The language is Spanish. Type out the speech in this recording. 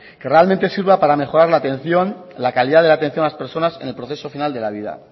que realmente sirva para mejorar la atención la calidad de la atención a las personas en el proceso final de la vida